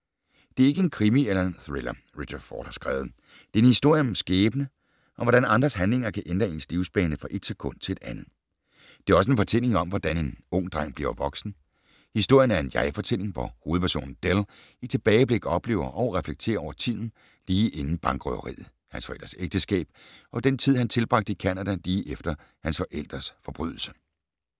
Det er ikke en krimi eller en thriller, Richard Ford har skrevet. Det er en historie om skæbne, og hvordan andres handlinger kan ændre ens livsbane fra et sekund til et andet. Det er også en fortælling om, hvordan en ung dreng bliver voksen. Historien er en jeg-fortælling, hvor hovedpersonen Dell i tilbageblik oplever og reflekterer over tiden lige inden bankrøveriet, hans forældres ægteskab og den tid, han tilbragte i Canada lige efter hans forældres forbrydelse.